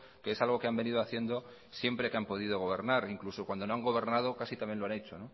que es algo que han venido haciendo siempre que han podido gobernar incluso cuando no han gobernado casi también lo han hecho